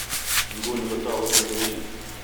Iguni kotoku telepision